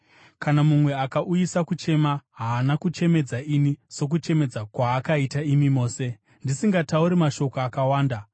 Kana mumwe akauyisa kuchema, haana kuchemedza ini sokuchemedza kwaakaita imi mose, ndisingatauri mashoko akawanda.